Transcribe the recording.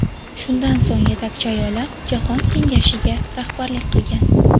Shundan so‘ng Yetakchi ayollar jahon kengashiga rahbarlik qilgan.